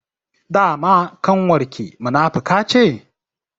Dama ƙanwar ki munafuka ce?